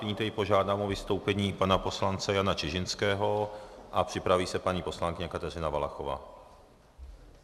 Nyní požádám o vystoupení pana poslance Jana Čižinského a připraví se paní poslankyně Kateřina Valachová.